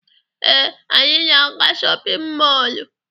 Ee, anyị na-aga shọpịn mọọlụ.